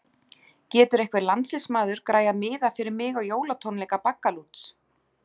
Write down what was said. Getur einhver landsliðsmaður græjað miða fyrir mig á jólatónleika Baggalúts?